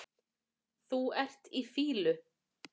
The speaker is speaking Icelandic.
Þú ert í fýlu